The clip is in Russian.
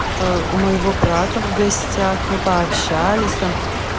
у моего брата в гостях мы пообщались там